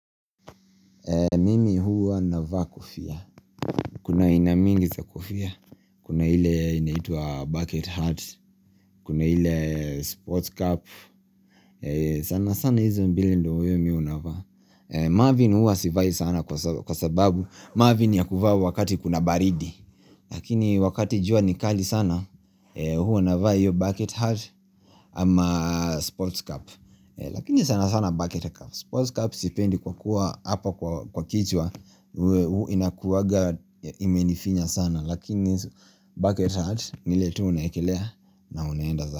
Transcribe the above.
Mimi huwa navaa kofia. Kuna aina mingi za kofia. Kuna ile inaitwa bucket hat. Kuna ile sports cap. Sana sana hizo mbili ndiyo mimi huwa navaa. Marvin huwa sivai sana kwa sababu. Marvin ni ya kuvaa wakati kuna baridi. Lakini wakati jua ni kali sana huwa navaa hiyo bucket hat ama sports cap. Lakini sana sana bucket cap sports cap sipendi kwa kuwa hapo kwa kichwa. Inakuwanga imenifinya sana lakini bucket hat ni ile tu unaiekelea na unaenda zako.